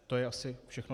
To je asi všechno.